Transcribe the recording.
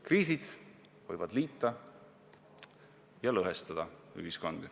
Kriisid võivad ühiskonda liita ja lõhestada.